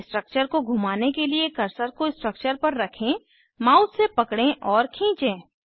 structure को घुमाने के लिए कर्सर को स्ट्रक्चर पर रखें माउस से पकडे और खींचें